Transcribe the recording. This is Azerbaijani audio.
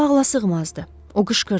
Bu ağlasığmazdı, o qışqırdı.